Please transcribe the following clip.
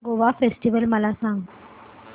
Goa festival मला सांग